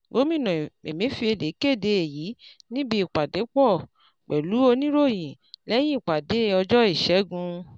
Gómìnà Emefiele kéde èyí níbi ìpàdépọ̀ pẹ̀lú oníròyìn lẹ́yìn ìpàdé ọjọ́ ìṣẹ́gun.